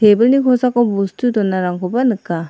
tebilni kosako bostu donarangkoba nika.